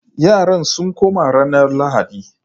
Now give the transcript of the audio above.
Yaran sun koma ranar Lahadi